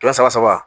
Kɛmɛ saba saba